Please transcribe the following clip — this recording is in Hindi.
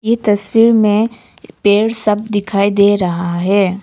ये तस्वीर में पेड़ सब दिखाई दे रहा है।